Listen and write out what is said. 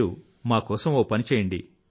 మీరు మా కోసం ఒక పని చేయండి